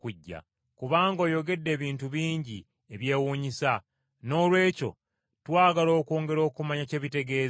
kubanga oyogedde ebintu bingi ebyewuunyisa, noolwekyo twagala okwongera okumanya kye bitegeeza.”